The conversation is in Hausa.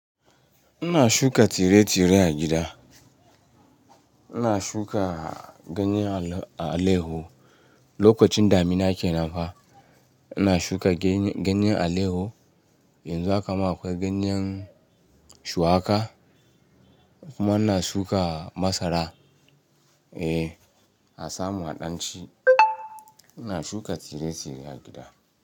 Ina shuka tsire tsire a gida. Ina shuka ganyen aleho. Lokacin damina ke nan fa ina shuka ganyen aleho. Yanzu haka ma akwai ganyen shuwaƙa kuma ina shuka masara. Eh, asa mu a ɗan ci. Ina shuka tire tire a gida.